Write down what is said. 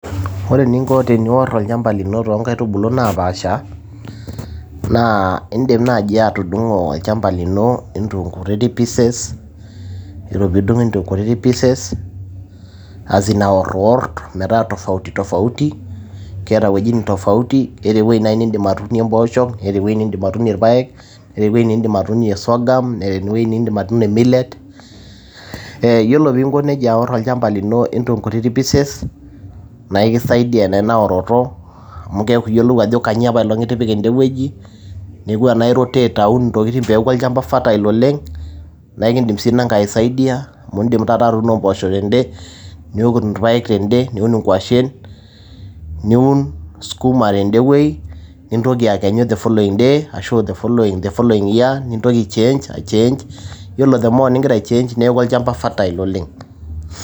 ore eninko ninior olchamba lino too nkaitubulu naapaasha, indim naaji atudungo olchamba lino into kutiti pieces, ore pee idung into kutiti pieces, as in aor iwor metaa tofauti tofauti, keeta eweji nidim atuunie impoosho, keeta weji nidim atuunie ilpaek, keeta eweji nidim atuunie sorghum neeta enindim atuunie millet. Iyiolo pii inko neija aor into kunini pieces, naa eiki saidia ina oroto neaku iyiolo ajo kainyoo itipika eneweji neaku tenaa indim airotate peaku olchamba fertile oleng' naa ekidim sii inangae aisaidia amu idim taata atuunao impoosho tede, ilpael tede niun inkwashen, niun sikuma tedewei, nitoki the following year nintoki aichange neaku olchamba fertile oleng'.